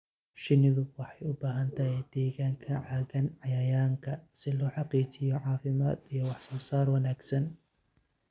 Shinnidu waxay u baahan tahay deegaan ka caagan cayayaanka si loo xaqiijiyo caafimaad iyo wax soo saar wanaagsan.